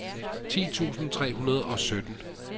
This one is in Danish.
ti tusind tre hundrede og sytten